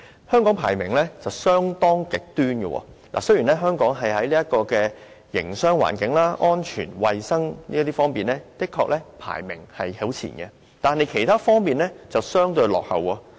香港的排名相當極端，雖然香港在營商環境、安全和衞生等方面排名甚高，但在其他方面卻相對落後。